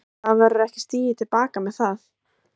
Brynja: Og það verður ekki stigið til baka með það?